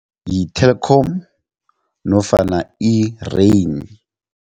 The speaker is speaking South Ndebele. Yi-Telkom nofana i-Rain.